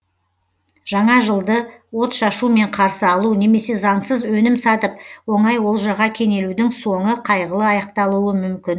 жаңа жылды отшашумен қарсы алу немесе заңсыз өнім сатып оңай олжаға кенелудің соңы қайғылы аяқталуы мүмкін